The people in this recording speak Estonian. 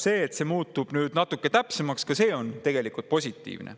See, et see muutub nüüd natuke täpsemaks, on ka positiivne.